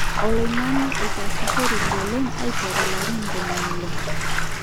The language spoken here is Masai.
Oloingange etasishoreki oleng aiteru larin 60.